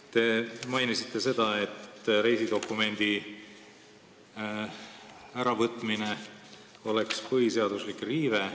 Te mainisite seda, et reisidokumendi äravõtmine oleks põhiseaduslik riive.